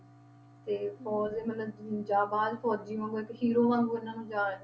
ਤੇ ਔਰ ਇਹ ਮਤਲਬ ਜਵਾਨ ਫ਼ੌਜ਼ੀ ਵਾਂਗੂ ਇੱਕ hero ਵਾਂਗੂ ਇਹਨਾਂ ਜਾਣ~